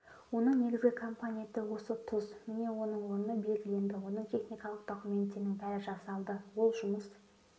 оның негізгі компоненті осы тұз міне оның орны белгіленді оның техникалық документтерінің бәрі жасалды ол жұмыс